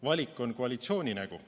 Valik on koalitsiooni nägu.